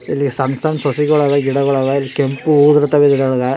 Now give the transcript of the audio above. ಇಲ್ಲಿ ಸಣ್ಣ ಸಣ್ಣ ಸಸಿಳೆಲ್ಲಾ ಗಿಡಳೆಲ್ಲಾ ಕೆಂಪು ಹೂವು ಬಿಡ್ತವೆ ಇದರೊಳಗ.